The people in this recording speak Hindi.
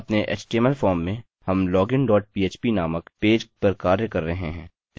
अपने html फॉर्म में हम login dot php नामक पेज पर कार्य कर रहे हैं